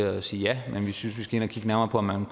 at sige ja men vi synes man skal ind og kigge nærmere på om man